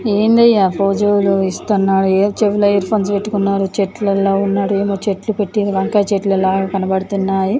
ఏందయ్యా ఫోజులు ఇస్తున్నాడు ఎదో చెవులో ఇయర్ ఫోన్స్ పెట్టుకున్నారు చెట్లల్లో ఉన్నాడు ఏమో చెట్లు పెట్టేది వంకాయ చెట్లలాగా కనబడుతున్నాయి.